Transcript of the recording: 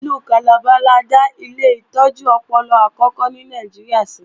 Ìlú Calabar la dá ilé ìtọ́jú ọpọlọ àkókò ní Nàìjíríà sí